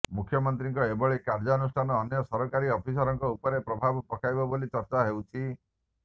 ମୁଖ୍ୟମନ୍ତ୍ରୀଙ୍କ ଏଭଳି କାର୍ଯ୍ୟାନୁଷ୍ଠାନ ଅନ୍ୟ ସରକାରୀ ଅଫିସରଙ୍କ ଉପରେ ପ୍ରଭାବ ପକାଇବ ବୋଲି ଚର୍ଚ୍ଚା ହେଉଛି